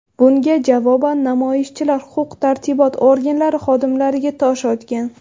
Bunga javoban namoyishchilar huquq-tartibot organlari xodimlariga tosh otgan.